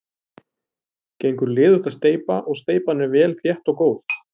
Gengur liðugt að steypa og steypan er vel þétt og góð.